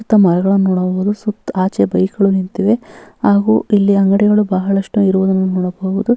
ಸುತ್ತ ಮರಗಳನ್ನು ನೋಡಬಹುದು ಸುತ್ತ ಆಚೆ ಬೈಕ್ ಗಳು ನಿಂತಿದೆ ಹಾಗು ಇಲ್ಲಿ ಅಂಗಡಿಗಳು ಬಹಳಷ್ಟು ಇರುವುದನ್ನು ನೋಡಬಹುದು --